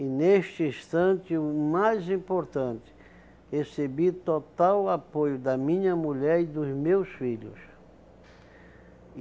E neste instante, o mais importante, recebi total apoio da minha mulher e dos meus filhos.